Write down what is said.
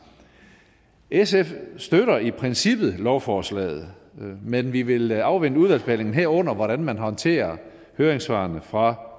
sf støtter i princippet lovforslaget men vi vil afvente udvalgsbehandlingen herunder hvordan man håndterer høringssvarene fra